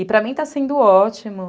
E para mim está sendo ótimo.